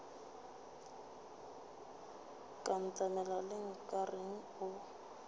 ka ntemela le nkareng o